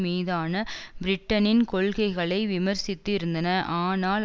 மீதான பிரிட்டனின் கொள்கைகளை விமர்சித்து இருந்தன ஆனால்